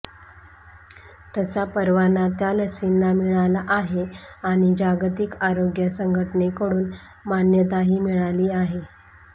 तसा परवाना त्या लसींना मिळाला आहे आणि जागतिक आरोग्य संघटनेकडून मान्यताही मिळाली आहे